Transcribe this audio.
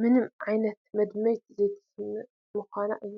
ምንም ዓይነት መድመይቲ ዘይተስዕብ ምዃና እዩ፡፡